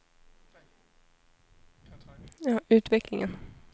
utvecklingen